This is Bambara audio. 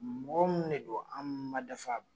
Mɔgɔ ninnu de do an ma dafa